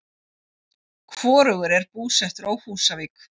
Hvorugur er búsettur á Húsavík.